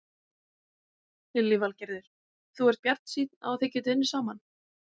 Lillý Valgerður: Þú ert bjartsýnn á þið getið unnið saman?